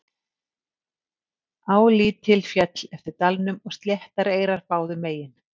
Á lítil féll eftir dalnum og sléttar eyrar báðum megin.